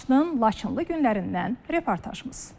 Laçının Laçınlı günlərindən reportajımız.